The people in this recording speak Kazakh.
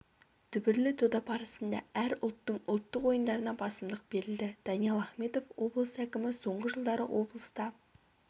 дүбірлі дода барысында әр ұлттың ұлттық ойындарына басымдық берілді даниал ахметов облыс әкімі соңғы жылдары облыста